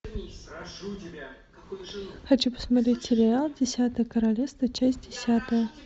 хочу посмотреть сериал десятое королевство часть десятая